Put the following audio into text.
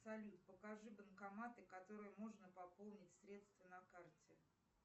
салют покажи банкоматы которые можно пополнить средства на карте